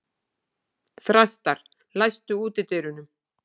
Þrastar, læstu útidyrunum.